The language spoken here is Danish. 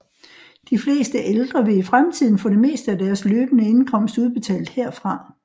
De fleste ældre vil i fremtiden få det meste af deres løbende indkomst udbetalt herfra